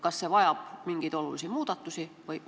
Kas see vajab mingeid olulisi muudatusi?